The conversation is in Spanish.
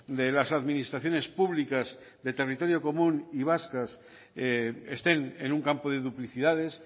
de las administraciones públicas de territorio común y vascas estén en un campo de duplicidades